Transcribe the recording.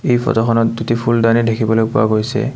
এই ফটোখনত দুটি ফুলডানি দেখিবলৈ পোৱা গৈছে।